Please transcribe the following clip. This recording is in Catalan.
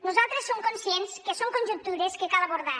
nosaltres som conscients que són conjectures que cal abordar